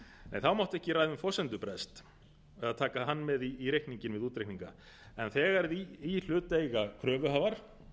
en það mátti ekki ræða um forsendubrest eða taka hann með í reikninginn við útreikninga en þegar íhlut eiga kröfuhafar